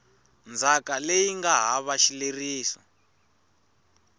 ndzhaka leyi nga hava xileriso